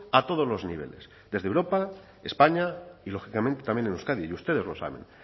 a todos los niveles desde europa españa y lógicamente también en euskadi y ustedes lo saben